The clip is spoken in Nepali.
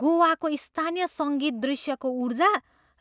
गोवाको स्थानीय सङ्गीत दृश्यको ऊर्जा